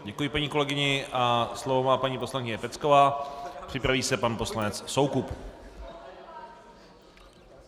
Děkuji paní kolegyni a slovo má paní poslankyně Pecková, připraví se pan poslanec Soukup.